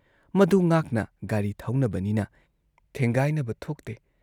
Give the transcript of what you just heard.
ꯃꯗꯨ ꯉꯥꯛꯅ ꯒꯥꯔꯤ ꯊꯧꯅꯕꯅꯤꯅ ꯊꯦꯡꯒꯥꯏꯅꯕ ꯊꯣꯛꯇꯦ ꯫